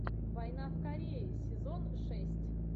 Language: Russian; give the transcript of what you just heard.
война в корее сезон шесть